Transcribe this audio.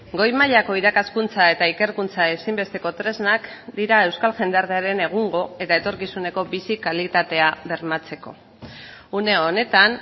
goi mailako irakaskuntza eta ikerkuntza ezinbesteko tresnak dira euskal jendartearen egungo eta etorkizuneko bizi kalitatea bermatzeko une honetan